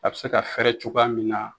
A be se ka fɛrɛ cogoya min na